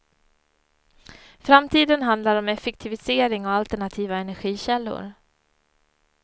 Framtiden handlar om effektivisering och alternativa energikällor.